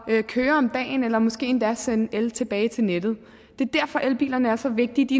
køre om dagen eller måske endda sende el tilbage til nettet det er derfor elbilerne er så vigtige de